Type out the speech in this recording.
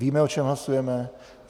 Víme, o čem hlasujeme?